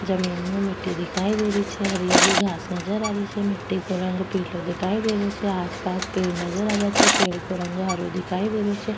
जमीन मे मिट्टी दिखाई दे रही छे हरी हरी घास नजर आ रही छे मिट्टी को रंग पिलाे दिखाई दे रियो छे आसपास पेड़ नजर आवे छे पेड को रंग हरो दिखाई दे रियो छे।